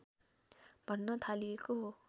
भन्न थालिएको हो